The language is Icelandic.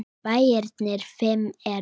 Bæirnir fimm eru